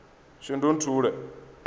shundunthule